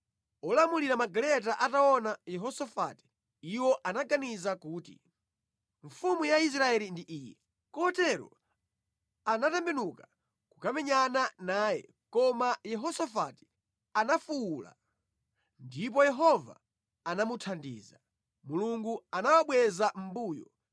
Olamulira magaleta ataona Yehosafati, iwo anaganiza kuti, “Mfumu ya Israeli ndi iyi.” Kotero anatembenuka kukamenyana naye koma Yehosafati anafuwula, ndipo Yehova anamuthandiza. Mulungu anawabweza mʼmbuyo,